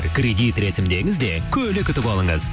кредит рәсімдеңіз де көлік ұтып алыңыз